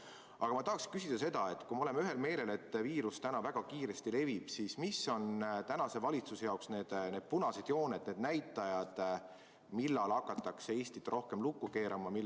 Aga ma tahan küsida seda, et kui me oleme ühel meelel, et viirus täna väga kiiresti levib, siis mis on valitsuse jaoks need punased jooned, need näitajad, mille korral hakatakse Eestit rohkem lukku keerama?